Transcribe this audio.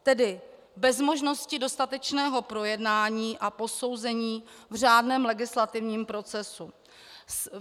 Tedy bez možnosti dostatečného projednání a posouzení v řádném legislativním procesu.